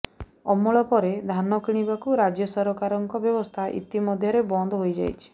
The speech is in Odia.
ଅମଳ ପରେ ଧାନ କିଣିବାକୁ ରାଜ୍ୟ ସରକାରଙ୍କ ବ୍ୟବସ୍ଥା ଇତି ମଧ୍ୟରେ ବନ୍ଦ ହୋଇଯାଇଛି